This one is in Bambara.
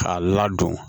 K'a ladon